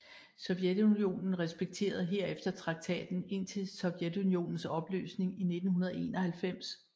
Sovjetunionen respekterede herefter traktaten indtil Sovjetunionens opløsning i 1991